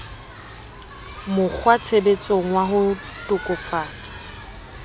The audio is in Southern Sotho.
mokg watshebetsong wa ho tokafatsa